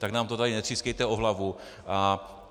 Tak nám to tady netřískejte o hlavu!